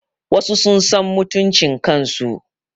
Wasu sun san mutuncin kan su